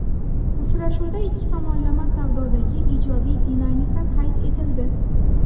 Uchrashuvda ikki tomonlama savdodagi ijobiy dinamika qayd etildi.